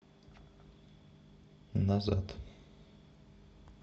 назад